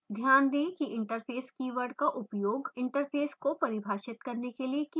ध्यान दें कि interface कीवर्ड का उपयोग interface को परिभाषित करने के लिए किया जाता है